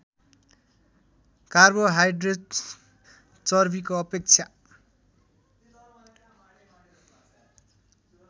carbohydrates चर्बीको अपेक्षा